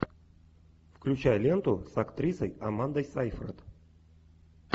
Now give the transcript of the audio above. включай ленту с актрисой амандой сайфред